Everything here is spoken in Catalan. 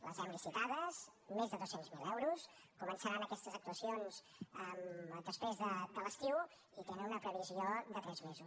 les hem licitades més de dos cents miler euros començaran aquestes actuacions després de l’estiu i tenen una previsió de tres mesos